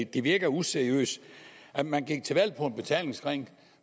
det virker useriøst at man gik til valg på en betalingsring